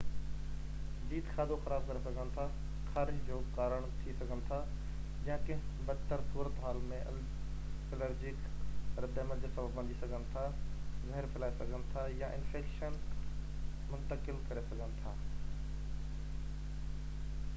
جيت کاڌو خراب ڪري سگهن ٿا خارش جو ڪارڻ ٿي سگهن ٿا يا ڪنهن بد تر صورتحال ۾ الرجڪ رد عمل جو سبب بڻجي سگهن ٿا زهر ڦهلائي سگهن ٿا يا انفيڪشن منتقل ڪري سگهن ٿا